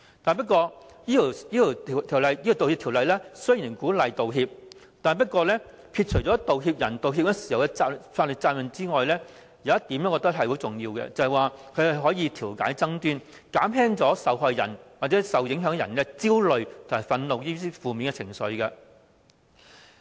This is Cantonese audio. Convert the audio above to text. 《道歉條例草案》鼓勵作出道歉，而撇除道歉人在道歉時的法律責任外，我認為有一點相當重要，就是可藉道歉調解爭端，減輕受害人或受影響人的焦慮和憤怒等負面情緒。